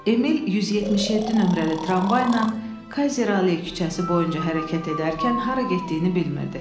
Emil 177 nömrəli tramvayla Kayzerli küçəsi boyunca hərəkət edərkən hara getdiyini bilmirdi.